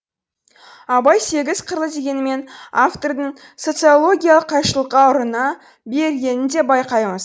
абай сегіз қырлы дегенімен автордың социологиялық қайшылыққа ұрына бергенін де байқаймыз